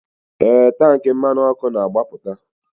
Ee, tank mmanụ ọkụ na-agbapụta.